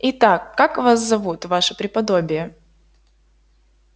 и так как вас зовут ваше преподобие